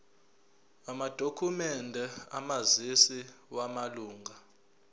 amadokhumende omazisi wamalunga